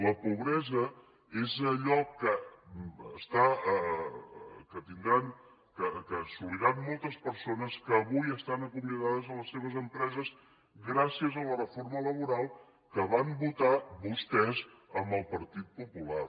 la pobresa és allò que tindran que assoliran moltes persones que avui estan acomiadades a les seves empreses gràcies a la reforma laboral que van votar vostès amb el partit popular